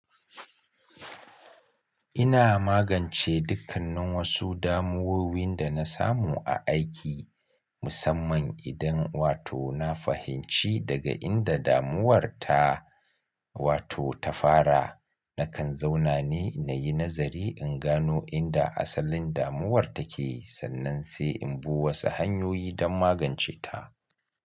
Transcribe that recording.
Ina magance dukkannin wasu damuwowi da na samu a aiki, musamman idan wato na fahimci daga inda damuwar ta wato ta fara. Nakan zauna ne na yi nazari in gano inda asalin damuwar take sannan sai in bi wasu hanyoyi don magance ta.